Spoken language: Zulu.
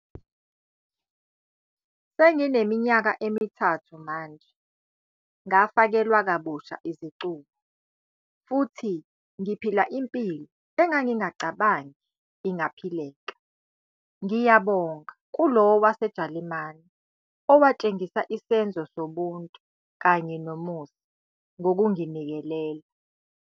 "Sengineminyaka emithathu manje ngafakelwa kabusha izicubu futhi ngiphila impilo engangingacabangi ingaphileka, ngiyabonga kulowo waseJalimani owatshengisa isenzo sobuntu kanye nomusa ngokunginikelela."